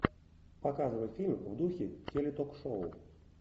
показывай фильм в духе теле ток шоу